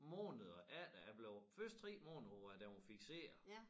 Måneder efter jeg blev først 3 måneder hvor at den var fikseret